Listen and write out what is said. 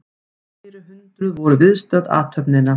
Fleiri hundruð voru viðstödd athöfnina